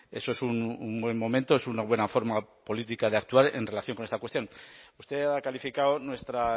eso es un buen momento es una buena forma política de actuar en relación con esta cuestión usted ha calificado nuestra